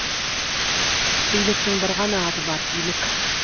биліктің бір ғана аты бар билік